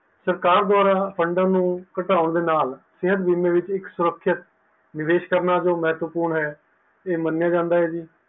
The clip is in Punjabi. ਸਰਕਾਰ ਦੁਆਰਾ fund ਨੂੰ ਘਟਾਉਣ ਦੇ ਨਾਲ ਸਿਹਤ ਬੀਮੇ ਵਿੱਚ ਇੱਕ ਸੁਰੱਖਿਅਕ ਨਿਵੇਸ਼ ਕਰਨਾ ਤੋਂ ਮਹੱਤਵਪੂਰਨ ਹੈ ਇਹ ਮੰਨਿਆ ਜਾਂਦਾ ਹੈ ਜੀ